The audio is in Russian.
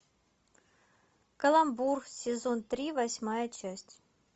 каламбур сезон три восьмая часть